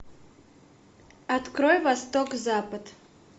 открой восток запад